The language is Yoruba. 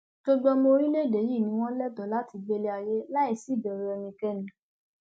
gbogbo ọmọ orílẹèdè yìí ni wọn lẹtọọ láti gbélé ayé láì sí ìbẹrù ẹnikẹni